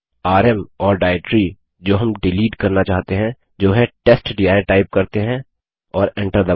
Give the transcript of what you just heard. RM M directory जो हम delete करना चाहते हैं जो है टेस्टडिर टाइप करते हैं और एन्टर दबायें